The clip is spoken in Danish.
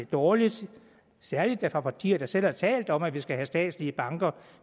dårligt særligt da af partier der selv har talt om at vi skal have statslige banker